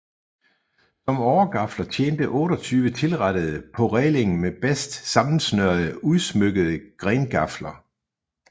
Som åregafler tjente 28 tilrettede på rælingen med bast sammensnørede udsmykkede grengafler